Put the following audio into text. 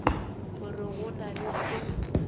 gore go na le se